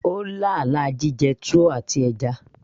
ó lá àlá jíjẹ túwó àti ẹja